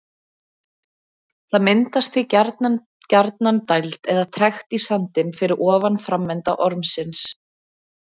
Það myndast því gjarnan gjarnan dæld eða trekt í sandinn fyrir ofan framenda ormsins.